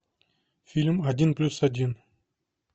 фильм один плюс один